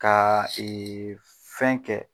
Kaa fɛn kɛ